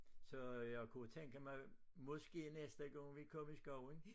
Så jeg kunne tænke mig måske næste gang vi kom i skoven